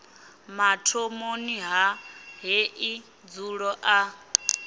mathomoni a heḽi dzulo ḽa